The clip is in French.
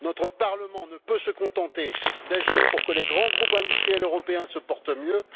Notre Parlement ne peut se contenter d'agir pour que les grands groupes industriels européens se portent mieux.